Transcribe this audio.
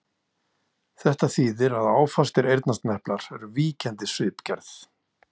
Þetta þýðir að áfastir eyrnasneplar eru víkjandi svipgerð.